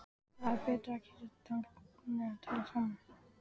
Það er betra að kyssast þannig og tala saman.